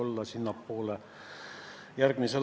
Palun, Anne Sulling!